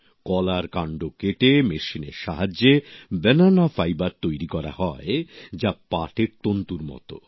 কলার কান্ড কেটে মেশিনের সাহায্যে ব্যানানা ফাইবার তৈরি করা হয় যা পাটের তন্তুর মত